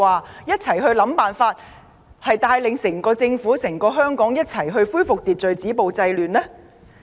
可有一起想辦法帶領整個政府、整個香港攜手恢復秩序、止暴制亂？